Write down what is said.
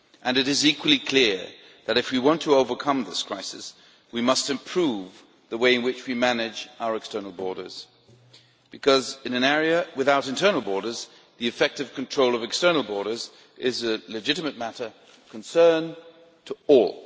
It is equally clear that, if we want to overcome this crisis, we must improve the way in which we manage our external borders because, in an area without internal borders, the effective control of external borders is a legitimate matter of concern to all.